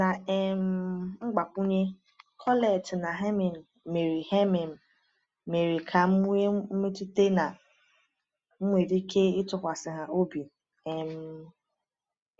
Na um mgbakwunye, Colette na Hermine mere Hermine mere ka m nwee mmetụta na m nwere ike ịtụkwasị ha obi. um